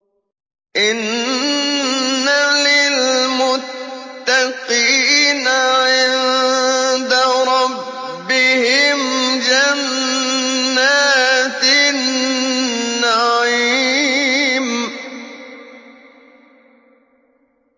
إِنَّ لِلْمُتَّقِينَ عِندَ رَبِّهِمْ جَنَّاتِ النَّعِيمِ